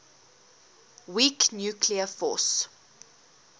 weak nuclear force